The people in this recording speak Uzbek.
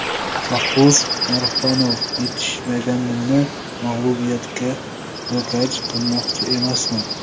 Shohruz Norxonov yetishmaganini mag‘lubiyatga ro‘kach qilmoqchi emasman.